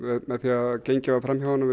með því að það var gengið fram hjá honum